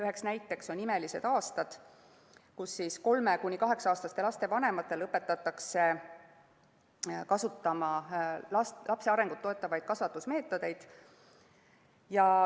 Üheks näiteks on "Imelised aastad", kus 3–8‑aastaste laste vanemaid õpetatakse kasutama lapse arengut toetavaid kasvatusmeetodeid.